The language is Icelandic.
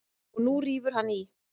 Og nú rífur hann í.